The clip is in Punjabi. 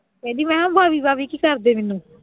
ਕਹਿੰਦੀ ਮੈਂ ਕਿਹਾ ਕੀ ਕਰਦੇ ਮੈਨੂੰ।